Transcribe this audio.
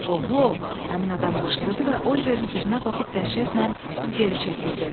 Oho, həmin adam qışqırdı və Oliverin üzünə baxıb dəhşətlə geri çəkildi.